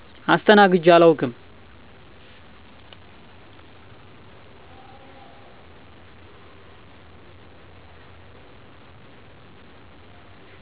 አስተናግጀ አላውቅም